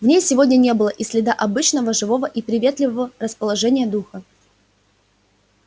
в ней сегодня не было и следа обычного живого и приветливого расположения духа